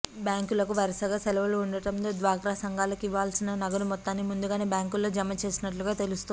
బ్యాంకులకు వరుసగా సెలవులు ఉండడంతో డ్వాక్రా సంఘాలకు ఇవ్వాల్సిన నగదు మొత్తాన్ని ముందుగానే బ్యాంకులో జమ చేసినట్టు తెలుస్తోంది